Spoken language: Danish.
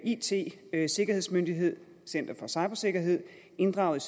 it sikkerhedsmyndighed center for cybersikkerhed inddraget